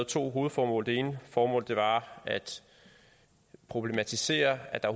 to hovedformål det ene formål var at problematisere at der